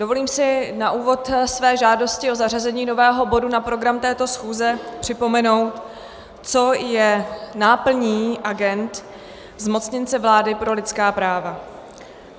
Dovolím si na úvod své žádosti o zařazení nového bodu na program této schůze připomenout, co je náplní agend zmocněnce vlády pro lidská práva.